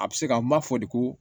A bɛ se ka n b'a fɔ de ko